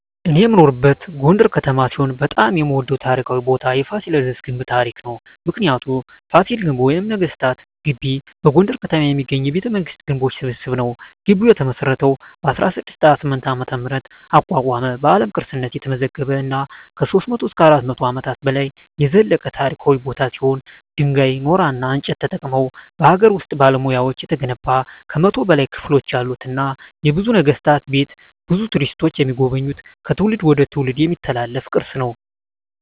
እኔ የምኖርበት ጎንደር ከተማ ሲሆን በጣም የምወደው ታሪካዊ ቦታ የፋሲለደስ ግንብ ታሪክ ነው። ምክንያቱ : ፋሲል ግንብ ወይም ነገስታት ግቢ በጎንደር ከተማ የሚገኝ የቤተመንግስታት ግንቦች ስብስብ ነው። ግቢው የተመሰረተው በ1628 ዓ.ም አቋቋመ በአለም ቅርስነት የተመዘገበ እና ከ300-400 አመታት በላይ የዘለቀ ታሪካዊ ቦታ ሲሆን ድንጋይ ,ኖራና እንጨት ተጠቅመው በሀገር ውስጥ ባለሙያዎች የተገነባ ከ100 በላይ ክፍሎች ያሉትና የብዙ ነገስታት ቤት ብዙ ቱሪስቶች የሚጎበኙት ከትውልድ ትውልድ የሚተላለፍ ቅርስ ነው።